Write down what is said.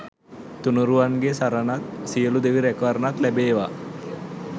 තුණුරුවන්ගේ සරණත් සියලු දෙවි ‍රැකවරනත් ලැබේවා